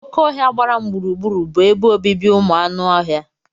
Oké ọhia gbara m gburugburu bụ ebe obibi ụmụ anụ ọhịa.